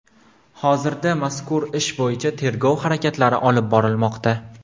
Hozirda mazkur ish bo‘yicha tergov harakatlari olib borilmoqda.